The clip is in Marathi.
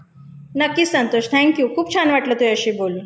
नक्कीच संतोष. थैंक यू खूप छान वाटलं तुझ्याशी बोलून.